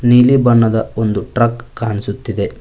ನೀಲಿ ಬಣ್ಣದ ಒಂದು ಟ್ರಕ್ ಕಾಣಿಸುತ್ತಿದೆ.